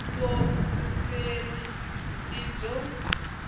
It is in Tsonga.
ngopfu vundzeni i byo